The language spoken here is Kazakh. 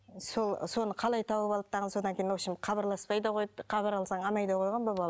соны қалай тауып алды дағыны содан кейін в общем хабарласпай да қойды хабар алсаң